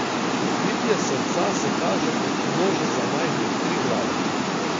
Bitje srca se kaže kot množica majhnih Triglavov.